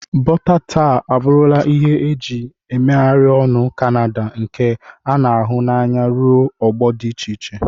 Bọta tar abụrụla ihe eji megharịa ọnụ Kanada nke a na-ahụ n'anya ruo ọgbọ dị iche iche.